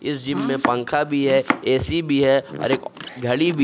इस जिम में एक पंखा भी है ए_सी भी है और एक घड़ी भी--